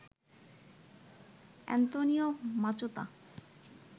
Antonio Machado